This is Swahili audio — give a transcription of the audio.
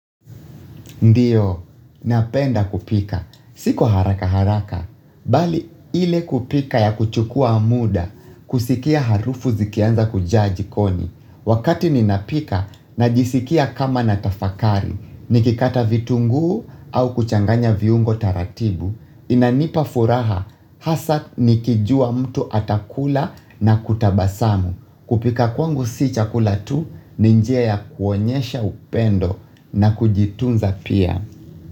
Ndiyo, napenda kupika, si kwa haraka haraka, bali ile kupika ya kuchukua muda, kusikia harufu zikianza kujaa jikoni, wakati ninapika najisikia kama natafakari, nikikata vitunguu au kuchanganya viungo taratibu, inanipa furaha, hasa nikijua mtu atakula na kutabasamu. Kupika kwangu si chakula tu ni njia ya kuonyesha upendo na kujitunza pia.